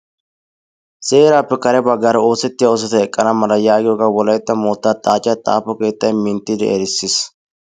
Seeraappe kareera baggara oosettiya oosota eqqana mala yaagiyogaa wolaytta moottaa xaacciya xaafo keettaay minttidi erissis.